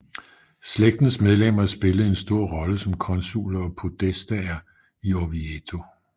Slægtens medlemmer spillede en stor rolle som konsuler og podestaer i Orvieto